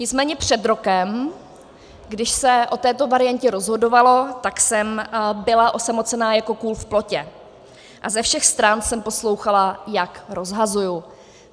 Nicméně před rokem, když se o této variantě rozhodovalo, tak jsem byla osamocená jako kůl v plotě a ze všech stran jsem poslouchala, jak rozhazuji.